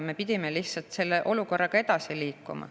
Me pidime lihtsalt sellega edasi liikuma.